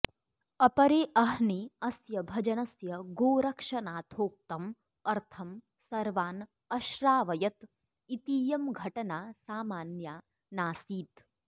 अपरे अह्नि तस्य भजनस्य गोरक्षनाथोक्तम् अर्थम् सर्वान् अश्रावयत् इतीयं घटना सामान्या नासीत्